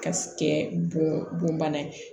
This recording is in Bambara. Ka kɛ bon bana ye